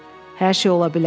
Hər şey ola bilər.